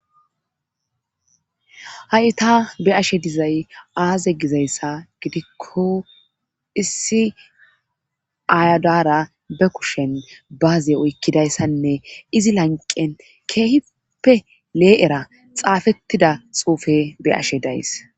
Ha7i ta be'ashe dizay aaze gizayssa gidikko issi ayadara be kushen baaze oykkidayssanne izi lanqen keehippe lee7era xaafettida xuufe be'ashe days.